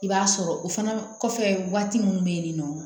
I b'a sɔrɔ o fana kɔfɛ waati min be yen ni nɔ